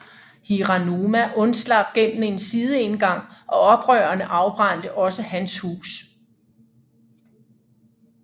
Hiranuma undslap gennem en sideindgang og oprørerne afbrændte også hans hus